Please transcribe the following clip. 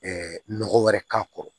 nɔgɔ wɛrɛ k'a kɔrɔ